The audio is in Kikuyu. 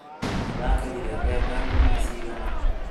Ũragethire mbembe ngunia cigana?